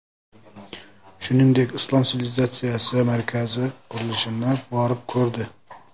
Shuningdek, Islom sivilizatsiyasi markazi qurilishini borib ko‘rdi .